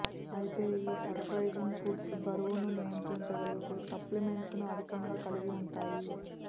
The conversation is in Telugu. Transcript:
అయితే ఈ సర్ ప్రైజింగ్ ఫుడ్స్ బరువును నియంత్రించగలిగే సంప్లిమెంట్స్ ను అధికంగా కలిగి ఉంటాయి